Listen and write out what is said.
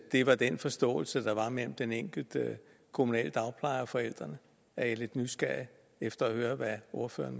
det var den forståelse der var mellem den enkelte kommunale dagpleje og forældrene jeg er lidt nysgerrig efter at høre hvad ordføreren